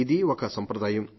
ఇది ఒక సంప్రదాయం